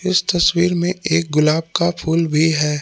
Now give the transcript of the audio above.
इस तस्वीर में एक गुलाब का फूल भी है।